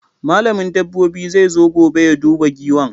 Malamin dabobi zai zo gobe ya duba Giwan